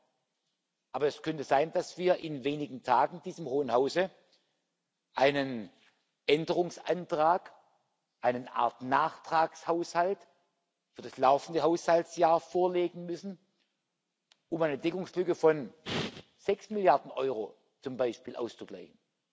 ein. Aber es könnte sein, dass wir in wenigen Tagen diesem Hohen Hause einen Änderungsantrag, eine Art Nachtragshaushalt für das laufende Haushaltsjahr vorlegen müssen, um zum Beispiel eine Deckungslücke von sechs Milliarden Euro auszugleichen